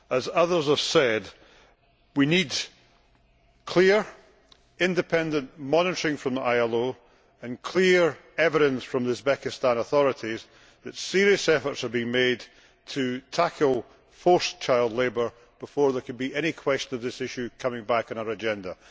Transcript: As others have said, we need clear, independent monitoring from the ILO and clear evidence from the Uzbekistan authorities that serious efforts are being made to tackle forced child labour before there can be any question of this issue coming back on our agenda.